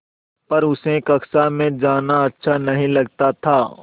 पर उसे कक्षा में जाना अच्छा नहीं लगता था